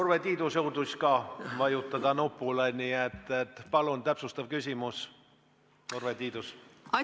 Urve Tiidus jõudis ka nupule vajutada, nii et palun täpsustav küsimus, Urve Tiidus!